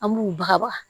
An b'u baga